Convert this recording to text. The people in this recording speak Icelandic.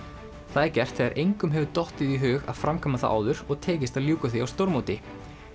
það er gert þegar engum hefur dottið í hug að framkvæma það áður og tekist að ljúka því á stórmóti